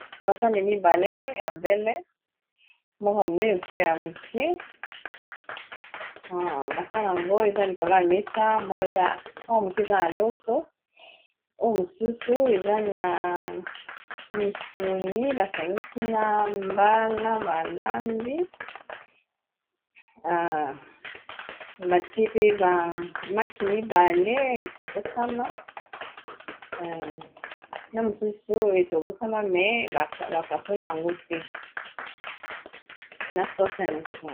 Basani mibale ya mbele moko ya monene mosusu ya moke, ba sani yango eza likolo ya mesa oya moke eza na loso oyo mosusu eza na misuni basangisi na mbala balambi batie pe ba maki mibale etokosama na mosusu etobosama me bapasole yango te na soce ya misuni.